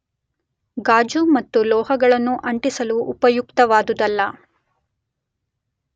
ಗಾಜು ಮತ್ತು ಲೋಹಗಳನ್ನು ಅಂಟಿಸಲು ಉಪಯುಕ್ತವಾದುವಲ್ಲ.